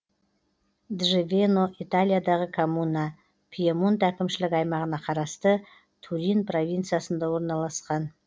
джавено италиядағы коммуна пьемонт әкімшілік аймағына қарасты турин провинциясында орналасқан